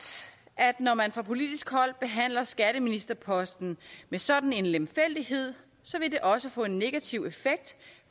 at når man fra politisk hold behandler skatteministerposten med sådan en lemfældighed vil det også få en negativ effekt